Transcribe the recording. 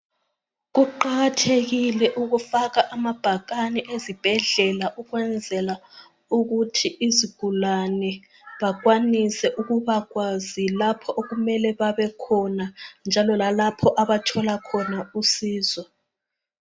Kuqakathekile ukufaka amabhakane ezibhedlela ukwenzela ukuthi izigulane bakhwanise ukuba kwazi lapho okumele babekhona njalo lalapho abathola khona usizo.